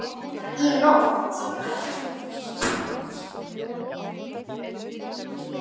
Í nótt?